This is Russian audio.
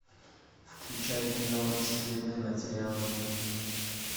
включай кино секретные материалы